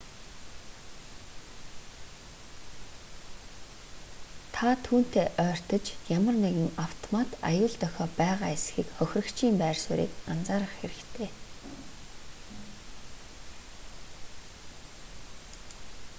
та түүнтэй ойртож ямар нэгэн автомат аюул дохио байгаа эсэхийг хохирогчийн байр суурийг анзаарах хэрэгтэй